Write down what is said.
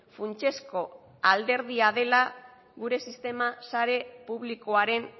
funtsezko alderdia dela gure sistema sare publikoaren